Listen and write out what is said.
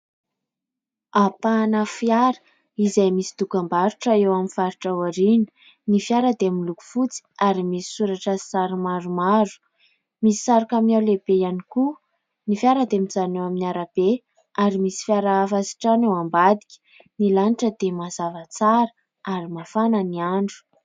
Ampahana fiara izay misy dokam-barotra eo amin'ny faritra ao aoriana, ny fiara dia miloko fotsy ary misy soratra sy sary maromaro, misy sary kamiao lehibe ihany koa. Ny fiara dia mijanona eo amin'ny arabe ary misy fiara hafa sy trano eo ambadika. Ny lanitra dia mazava tsara ary mafana ny andro.